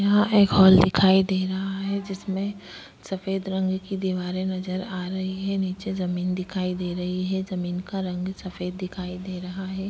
यहां एक हाल दिखाई दे रहा है। जिसमें सफेद रंग की दीवारें नजर आ रही है। नीचे जमीन दिखाई दे रही है। जमीन का रंग सफेद दिखाई दे रहा है।